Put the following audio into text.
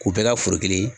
K'u bɛɛ ka foro kelen